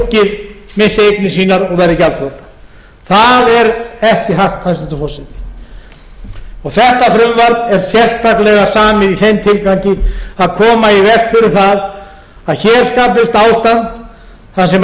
fólkið missi eignir sínar og verði gjaldþrota það er ekki hægt hæstvirtur forseti þetta frumvarp er sérstaklega samið í þeim tilgangi að koma í veg fyrir það að hér skapist ástand þar sem íbúðir hús